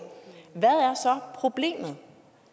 hvad er så problemet